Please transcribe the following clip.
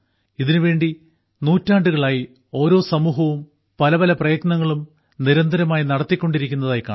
ഇതിനുവേണ്ടി നൂറ്റാണ്ടുകളായി ഓരോ സമൂഹവും പല പല പ്രയത്നങ്ങളും നിരന്തരമായി നടത്തിക്കൊണ്ടിരിക്കുന്നതായി കാണാം